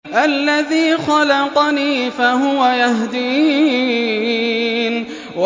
الَّذِي خَلَقَنِي فَهُوَ يَهْدِينِ